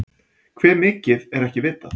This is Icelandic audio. Hve mikið er ekki vitað.